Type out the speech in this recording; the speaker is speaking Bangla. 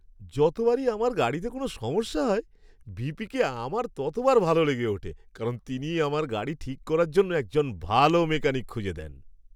যতবারই আমার গাড়িতে কোনও সমস্যা হয়, ভিপিকে আমার ততবার ভালো লেগে ওঠে, কারণ তিনি আমার গাড়ি ঠিক করার জন্য একজন ভালো মেকানিক খুঁজে দেন।